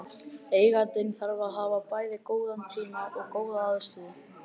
Eigandinn þarf að hafa bæði góðan tíma og góða aðstöðu.